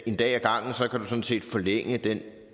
en dag ad gangen sådan set kan forlænge den